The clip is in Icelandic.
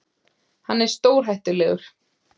Hann er stórhættulegur.